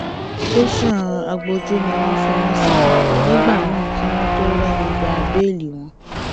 tẹsán agbójú ni wọn fi wọn sí nígbà náà kí wọn tóó rẹni gba bẹẹlí wọn